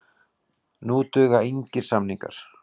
Nú duga engir samningar.